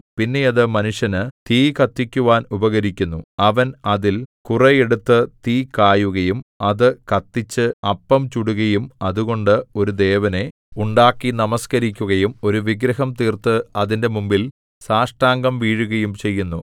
പിന്നെ അത് മനുഷ്യന് തീ കത്തിക്കുവാൻ ഉപകരിക്കുന്നു അവൻ അതിൽ കുറെ എടുത്തു തീ കായുകയും അത് കത്തിച്ച് അപ്പം ചുടുകയും അതുകൊണ്ട് ഒരു ദേവനെ ഉണ്ടാക്കി നമസ്കരിക്കുകയും ഒരു വിഗ്രഹം തീർത്ത് അതിന്റെ മുമ്പിൽ സാഷ്ടാംഗം വീഴുകയും ചെയ്യുന്നു